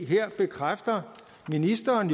her bekræfter ministeren